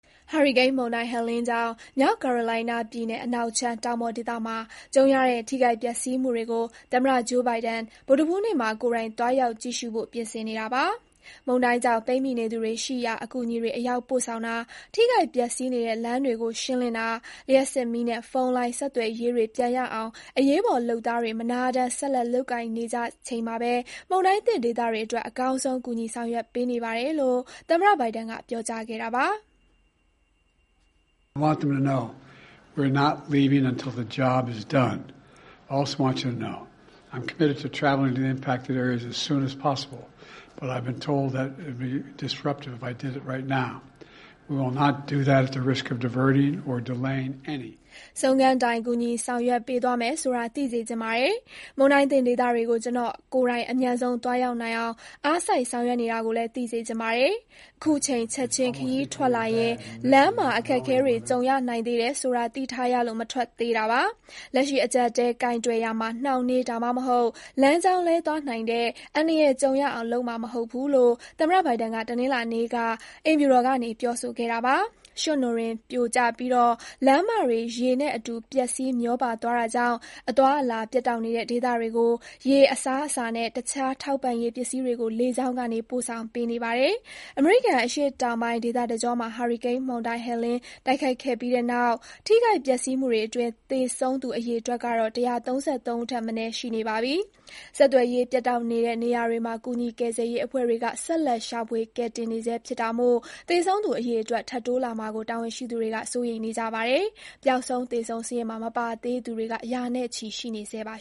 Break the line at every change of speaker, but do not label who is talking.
ဟာရီကိန်းမုန်တိုင်း Helene ကြောင့် မြောက်ကာရိုလိုင်းနားပြည်နယ် အနောက်ခြမ်း တောင်ပေါ်ဒေသမှာ ကြုံရတဲ့ ထိခိုက် ပျက်စီးမှုတွေကို သမ္မတ ဂျိုးဘိုင်ဒန် ဗုဒ္ဓဟူးနေ့မှာ ကိုယ်တိုင် သွားရောက် ကြည့်ရှုဖို့ ပြင်ဆင်နေပါတယ်။ မုန်တိုင်းကြောင့် ပိတ်မိနေသူတွေ ရှိရာ အကူအညီတွေ အရောက်ပို့ဆောင်တာ၊ ထိခိုက်ပျက်စီးနေတဲ့ လမ်းတွေကို ရှင်းလင်းတာ၊ လျှပ်စစ်မီးနဲ့ ဖုန်းလိုင်း ဆက်သွယ်ရေးတွေ ပြန်ရအောင် အရေးပေါ် လုပ်သားတွေ မနားတမ်း ဆက်လက် လုပ်ကိုင်နေကြချိန်မှာပဲ မုန်တိုင်းသင့် ဒေသတွေအတွက် အကောင်းဆုံး ကူညီ ဆောင်ရွက်ပေးနေပါတယ်လို့ သမ္မတ ဘိုင်ဒန်က ပြောကြားခဲ့တာပါ။
"ဆ
ုံးခန်းတိုင် ကူညီ ဆောင်ရွက်ပေးသွားမယ် ဆိုတာ သိစေချင်ပါတယ်။ မုန်တိုင်းသင့်ဒေသတွေကို ကျနော် ကိုယ်တိုင် အမြန်ဆုံး သွားရောက်နိုင်အောင် အားစိုက်ဆောင်ရွက်နေတာကိုလည်း သိစေချင်ပါတယ်။ အခုအချိန် ချက်ချင်း ခရီးထွက်လာရင် လမ်းမှာ အခက်အခဲတွေ ကြုံရနိုင်သေးတယ်ဆိုတာ သိထားရလို့ မထွက်သေးတာပါ။ လက်ရှိ အကျပ်အတည်း ကိုင်တွယ်ရာမှာ နှောင့်နှေး ဒါမှမဟုတ် လမ်းကြောင်း လွဲသွားနိုင်တဲ့ အန္တရာယ်ကြုံရအောင် လုပ်မှာမဟုတ်ဘူး။” လို့ သမ္မတ ဘိုင်ဒန်က တနင်္လာနေ့က အိမ်ဖြူတော်ကနေ ပြောဆိုခဲ့တာပါ။ ရွှံ့နွံတွေ ပြိုကျပြီး လမ်းမတွေ ရေနဲ့အတူ ပျက်စီး မျောပါသွားတာကြောင့် အသွားအလာ ပြတ်တောက်နေတဲ့ ဒေသတွေကို ရေ၊ အစားအစာနဲ့ တခြား ထောက်ပံ့ရေး ပစ္စည်းတွေကို လေကြောင်းကနေ ပို့ဆောင်ပေးနေပါတယ်။ အမေရိကန် အရှေ့တောင်ပိုင်း ဒေသတကြောမှာ ဟာရီကိန်းမုန်တိုင်း Helene တိုက်ခတ်ခဲ့ပြီးတဲ့နောက် ထိခိုက်ပျက်စီးမှုတွေအတွင်း သေဆုံးသူ အရေအတွက်ကတော့ ၁၃၃ ဦးထက်မနည်း ရှိနေပါပြီ။ ဆက်သွယ်ရေး ပြတ်တောက်နေတဲ့ နေရာတွေမှာ ကူညီ ကယ်ဆယ်ရေး အဖွဲ့တွေက ဆက်လက် ရှာဖွေ ကယ်တင်နေဆဲ ဖြစ်တာမို့ သေဆုံးသူအရေအတွက် ထပ်တိုးလာမှာကို တာဝန်ရှိသူတွေက စိုးရိမ်နေကြပါတယ်။ ပျောက်ဆုံး သေဆုံး စာရင်းမှာ မပါသေးသူတွေက ရာနဲ့ချီ ရှိနေဆဲပါ